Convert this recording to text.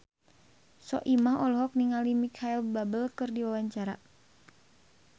Soimah olohok ningali Micheal Bubble keur diwawancara